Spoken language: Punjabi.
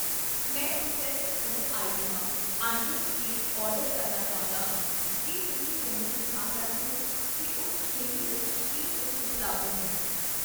ਮੈਂ ਪ੍ਰੋਸੈਸਡ ਫੂਡ ਆਈਟਮਾਂ, , ਅੰਡੇ, ਕੇਕ ਆਰਡਰ ਕਰਨਾ ਚਾਹੁੰਦਾ ਹਾਂ, ਕੀ ਤੁਸੀਂ ਮੈਨੂੰ ਦਿਖਾ ਸਕਦੇ ਹੋ ਕੀ ਉਸ ਸ਼੍ਰੇਣੀ ਵਿੱਚ ਕੀ ਕੁੱਝ ਉਪਲੱਬਧ ਹੈ?